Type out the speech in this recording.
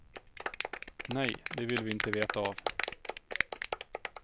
Nej, det vill vi inte veta av.